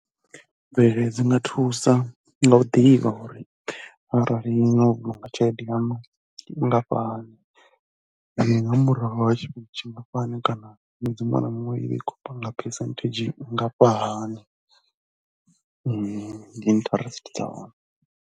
Mvelelo dzi nga thusa nga u ḓivha uri arali no vhulunga tshelede yaṋu nngafhani nga murahu ha tshifhinga tshingafhani kana ṅwedzi muṅwe na muṅwe i vha i khou panga phesenthedzhi nngafhahani, ndi interest dza hone.